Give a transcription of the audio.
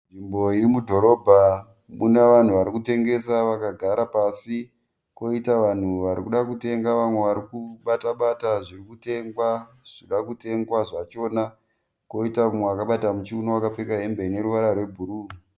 Nzvimbo irimudhorobha muna vanhu varikutengesa vakagara pasi. Koita vanhu varikuda kutenga vamwe varikubata bata zviri kutengwa, zvirikuda kutengwa zvachona. Koita umwe akabata muchiuno akapfeka hembe ine ruvara rwe bhuruu.